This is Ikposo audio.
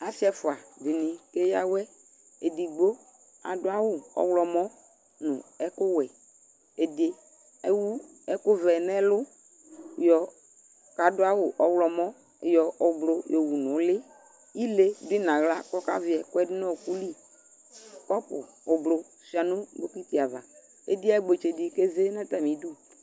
Asɩ ɛfʋa dɩnɩ keyǝ awɛ Edigbo adʋ awʋ ɔɣlɔmɔ nʋ ɛkʋwɛ Ɛdɩ ewu ɛkʋvɛ nʋ ɛlʋ yɔ kʋ adʋ awʋ ɔɣlɔmɔ yɔ ɔblʋ yɔwu nʋ ʋlɩ Ile dʋ yɩ nʋ aɣla kʋ ɔkavɩ ɛkʋ yɛ dʋ nʋ ɔɣɔkʋ li Kɔpʋ oblo sʋɩa nʋ bɔkɩtɩ ava Ediyǝkpetse dɩ keze nʋ atamɩdu